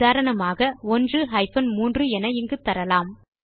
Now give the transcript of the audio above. எ கா 1 3 என இங்கு எழுதலாம்